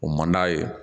O man d'a ye